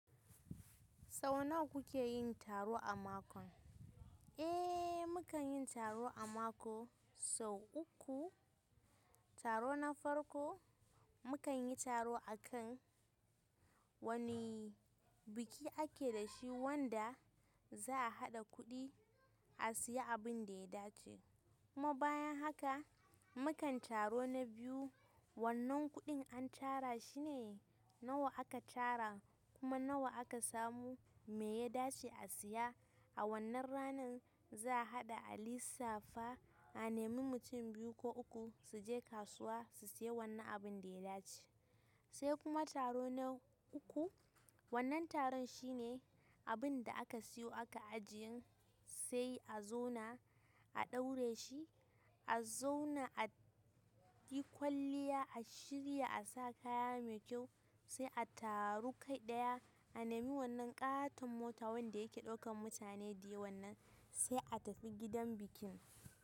Sau nawa kuke yin taro a mako? Eh, mukan yi taro a mako sau uku. Taro na farko, mukan yi taro a kan wane biki ake da shi wanda za'a haɗa kuɗi a siya abin da ya dace. Kuma bayan haka, muka taro na biyu, wannan kuɗin an tara shi ne nawa aka tara kuma nawa aka samu, me ya dace a siya. A wannan ranar za'a haɗa alisafa a nemi mutum biyu ko uku su je kasuwa su siya wannan abin da ya dace. Sai kuma taro na uku, wannan taron shine abin da aka siyo aka ajiye sai a zauna a ɗaure shi, a zauna a yi kwalliya, a shirya, a sa kaya mai kyau sai a taru gu ɗaya, a nemi wannan ƙaton mota wanda yake ɗaukan mutane da yawan nan sai a tafi gidan bikin.